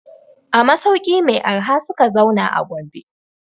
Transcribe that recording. A masauki mai arha suka zauna a Gombe.